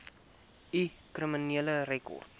u kriminele rekord